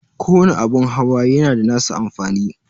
Kowani abun hawa yana da nasa amfani.